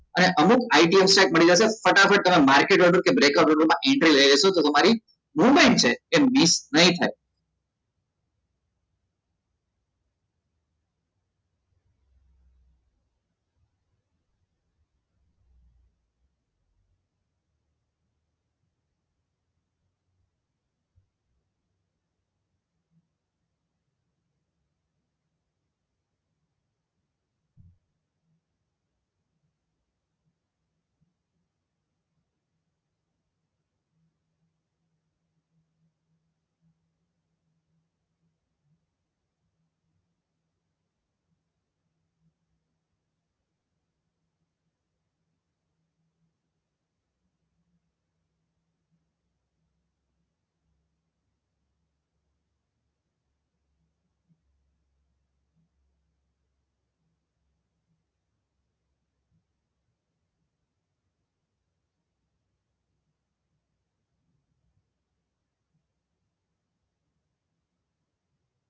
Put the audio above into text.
અને અમુક IT મળી જસે ફટાફટ તમે market order કે breaker order મા entry લઈ લેશો તો તમારી movement છે એ miss ની થાય